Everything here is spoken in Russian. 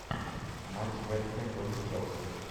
матч вест хэм против челси